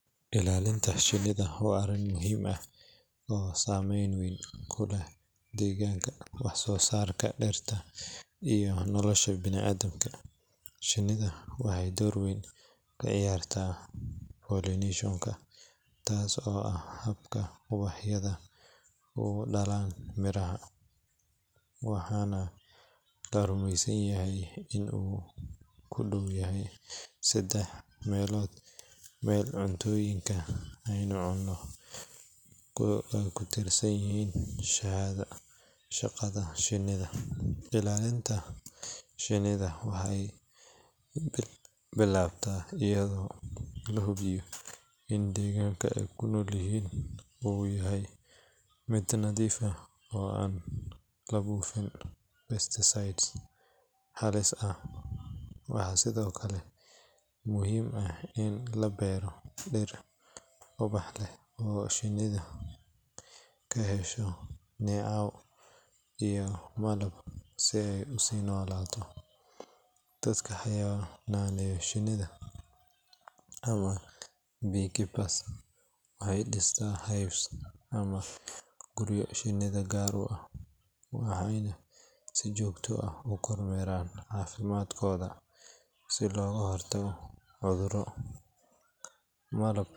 Ilaalinta shinida waa arrin muhiim ah oo saameyn weyn ku leh deegaanka, wax soo saarka dhirta iyo nolosha bini’aadamka. Shinidu waxay door weyn ka ciyaartaa pollination-ka, taas oo ah habka ubaxyadu u dhalayaan miraha, waxaana la rumeysan yahay in ku dhowaad saddex meelood meel cuntooyinka aynu cunno ay ku tiirsan yihiin shaqada shinida. Ilaalinta shinida waxay bilaabataa iyadoo la hubiyo in deegaanka ay ku noolyihiin uu yahay mid nadiif ah oo aan la buufin pesticides halis ah. Waxaa sidoo kale muhiim ah in la beero dhir ubax leh oo shinidu ka hesho neecaw iyo malab si ay u sii noolaadaan. Dadka xannaaneeya shinida, ama beekeepers, waxay dhistaan hives ama guryo shinida u gaar ah, waxayna si joogto ah u kormeeraan caafimaadkooda si looga hortago cudurro. Malab,